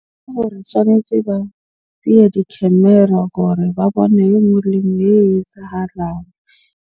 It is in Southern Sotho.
Ke hore tshwanetje ba beye di-camera hore ba bone e nngwe le e nngwe e etsahalang.